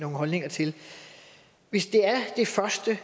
holdninger til hvis det er det første